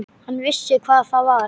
Hann vissi hvað það var.